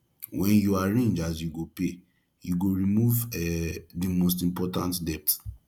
wen yu arrange as you go pay yu go remove um the most important important debt